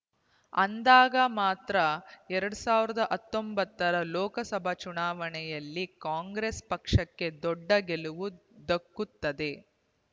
ಅಂದಾಗ ಮಾತ್ರ ಎರಡ್ ಸಾವಿರದ ಹತ್ತೊಂಬತ್ತರ ಲೋಕ ಸಭಾ ಚುನಾವಣೆಯಲ್ಲಿ ಕಾಂಗ್ರೆಸ್ ಪಕ್ಷಕ್ಕೆ ದೊಡ್ಡ ಗೆಲುವು ದಕ್ಕುತ್ತದೆ